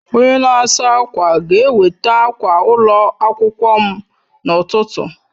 Onye na-asa ákwà ga-eweta akwa ụlọ akwụkwọ m n'ụtụtụ